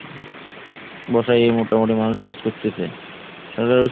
বসায়ে মোটামুটি মানুষ চাষ করতেছে। সবাই